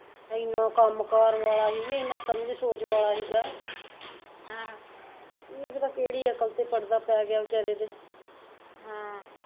ਏਨਾਂ ਕੰਮ ਕਰ ਵਾਲਾ ਸੀ ਏਨਾਂ ਸਮਜ ਸੋਚ ਵਾਲਾ ਸੀਗਾ ਆਹ ਕੀ ਪਤਾ ਕਿਹੜੀ ਅਕਲ ਤੇ ਪੜਦਾ ਪੈ ਗਿਆ ਵਿਚਾਰੇ ਦੇ ਹਮ